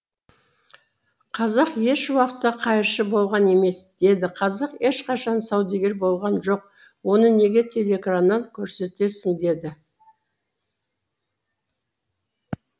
қазақ еш уақытта қайыршы болған емес деді қазақ ешқашан саудагер болған жоқ оны неге телеэкраннан көрсетесің деді